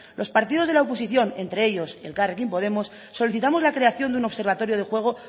los partidos de la oposición entre ellos elkarrekin podemos solicitamos la creación de un observatorio de juego